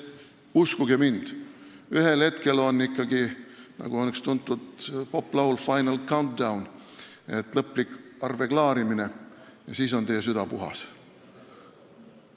Uskuge mind, ühel hetkel tuleb ikkagi lõplik arveklaarimine, nagu on tuntud poplaulus "Final countdown", ja siis on teie süda puhas.